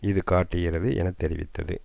இது காட்டுகிறது என தெரிவித்தது